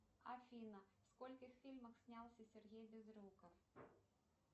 афина в скольких фильмах снялся сергей безруков